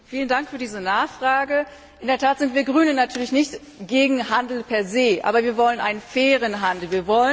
Frau Präsidentin! Vielen Dank für diese Nachfrage. In der Tat sind wir Grünen natürlich nicht gegen Handel per se, aber wir wollen einen fairen Handel.